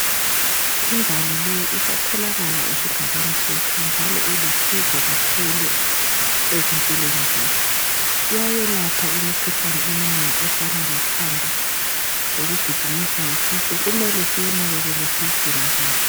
Imbali leyi isatholakala esigabeni sethu njalo ilusizo kakhulu ezimpilweni zethu. iyayelapha imikhuhlane eminengi efana lekhanda lokugijinyswa yisisu kumele siyinakanele siyigcine kahle.